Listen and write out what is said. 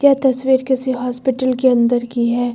ये तस्वीर किसी हॉस्पिटल के अंदर की है।